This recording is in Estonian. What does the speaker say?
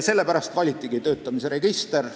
Sellepärast valitigi töötamise register.